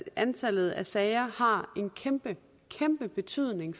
antallet af sager har en kæmpe kæmpe betydning